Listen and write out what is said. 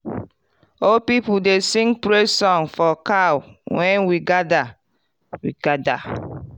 old people dey sing praise song for cow when we gather. we gather.